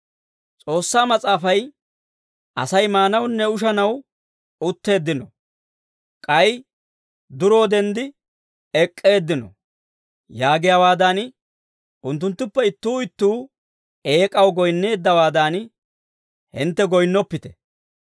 S'oossaa mas'aafay, «Asay maanawunne ushanaw utteeddino; k'ay duroo denddi ek'k'eeddino» yaagiyaawaadan, unttunttuppe ittuu ittuu eek'aw goyinneeddawaadan, hintte goyinnoppite.